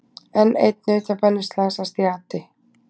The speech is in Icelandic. Enn einn nautabaninn slasast í ati